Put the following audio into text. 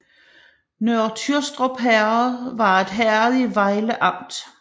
Nørre Tyrstrup Herred var et herred i Vejle Amt